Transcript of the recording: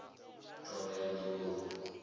thohoyandou